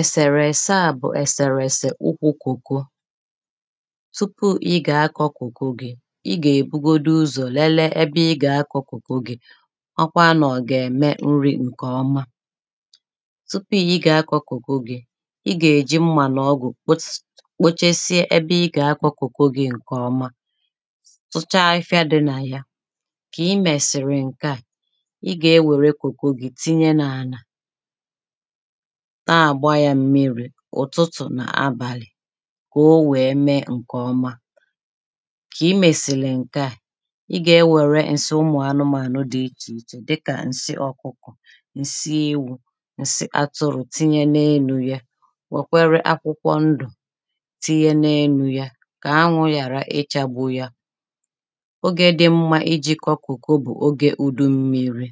ẹ̀sèrẹ̀ ẹ̀sẹ ȧ bụ̀ ẹ̀sẹ̀rẹ̀ ẹ̀sẹ̀ ụkwụ̇ kòko tupu ị gà-akọ̇ kòko gị ị gà-èbugodu ụzọ̀ lėlė ị gà-akọ̇ kòko gị̀ ọkwa nọ̀ gà-ème nri̇ ǹkè ọma tupu ị ị gà-akọ̇ kòko gị ị gà-èji mmà nà ọgwụ̀ kpotȧ kpochesie ebe ị gà-akọ̇ kòko gị ǹkèọma tụcha afịfịa dị nà ya kà ị mẹ̀sị̀rị̀ ǹkè a ị gà-ewère kòko gị tinye n’àlà taa gbaa yȧ mmiri̇ ụ̀tụtụ̀ nà abàlị̀ kà o wèe mee ǹkè ọma kà ị mèsìlì ǹke à ị gà-enwėrė ǹsị ụmụ̀ anụmȧnụ̀ dị ichè ichè dịkà ǹsị ọkụkọ ǹsị ewù ǹsị atụrụ̀ tinye n’elu̇ ya wèkwere akwụkwọ ndụ̀ tinye n’elu̇ ya kà anwụ̇ yàra ịchagbụ ya ogė dị mmȧ iji̇ kọ kùkù bụ̀ ogė ùdu mmi̇ri̇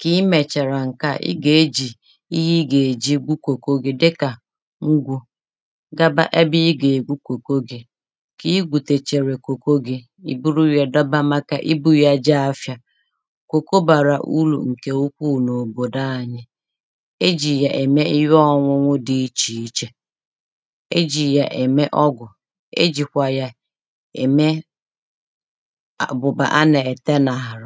kà i mèchàrà ǹke a, ị gà-ejì ihe ị gà-èji bu kòko gi dikà ngwụ̇ gaba abịa ị gà-èbu kòko gi kà ị gwùtèchèrè kòko gi, ìburu ya dọba màkà ibu ya jee afịà kòko bàrà urù ǹkè ukwuù n’òbòdò anyi e jì ya ème ihe ọṅụṅụ dị ichè ichè e jì ya ème ọgwụ̀ e jìkwa ya ème ihe anà-ète nàla